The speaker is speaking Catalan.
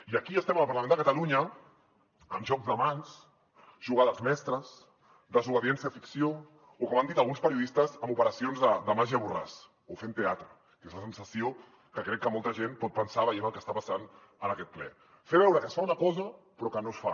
i aquí estem al parlament de catalunya amb jocs de mans jugades mestres desobediència ficció o com han dit alguns periodistes amb operacions de màgia borràs o fent teatre que és la sensació que crec que molta gent pot tenir veient el que està passant en aquest ple fer veure que es fa una cosa però que no es fa